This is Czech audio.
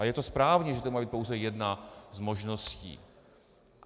A je to správné, že to má být pouze jedna z možností.